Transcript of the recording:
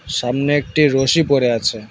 সামনে একটি রসি পড়ে আছে।